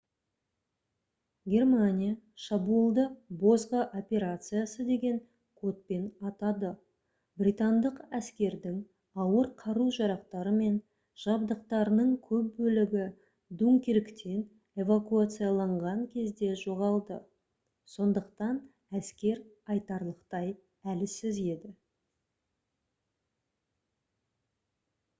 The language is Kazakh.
германия шабуылды «бозғы операциясы» деген кодпен атады. британдық әскердің ауыр қару-жарақтары мен жабдықтарының көп бөлігі дункирктен эвакуацияланған кезде жоғалды сондықтан әскер айтарлықтай әлсіз еді